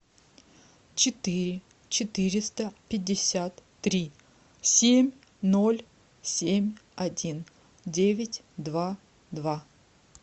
четыре четыреста пятьдесят три семь ноль семь один девять два два